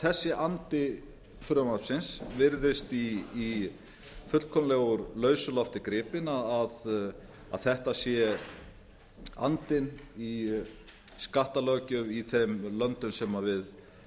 þessi andi frumvarpsins virðist fullkomlega úr lausu lofti gripinn að þetta sé andinn í skattalöggjöf i þeim löndum sem við